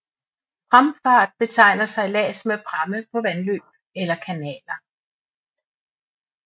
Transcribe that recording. Pramfart betegner sejlads med pramme på vandløb eller kanaler